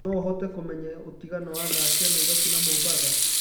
no ũhote kũmenya utĩngano wa thaa cĩa naĩrobĩ na mombatha